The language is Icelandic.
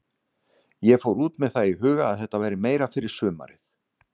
Ég fór út með það í huga að þetta væri meira fyrir sumarið.